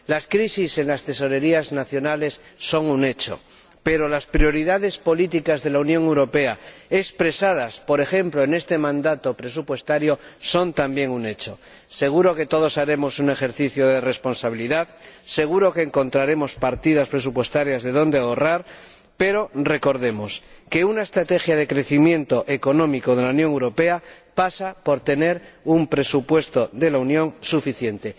Las crisis en las tesorerías nacionales son un hecho, pero las prioridades políticas de la Unión Europea, expresadas por ejemplo en este mandato presupuestario, son también un hecho. Seguro que todos haremos un ejercicio de responsabilidad, seguro que encontraremos partidas presupuestarias de donde ahorrar, pero recordemos que una estrategia de crecimiento económico de la Unión Europea pasa por tener un presupuesto de la Unión suficiente.